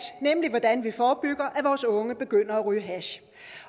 nemlig om hvordan vi forebygger at vores unge begynder at ryge hash